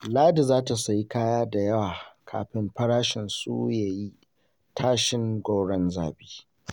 Ladi za ta sayi kaya da yawa kafin farashinsu ya yi tashin gwauron zabi.